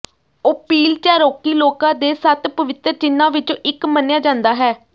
ਓਪੀਲ Cherokee ਲੋਕਾਂ ਦੇ ਸੱਤ ਪਵਿੱਤਰ ਚਿੰਨ੍ਹਾਂ ਵਿੱਚੋਂ ਇੱਕ ਮੰਨਿਆ ਜਾਂਦਾ ਹੈ